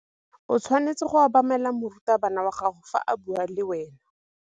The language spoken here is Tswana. O tshwanetse go obamela morutabana wa gago fa a bua le wena.